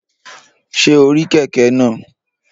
Ṣé o rí kẹ̀kẹ́ náà?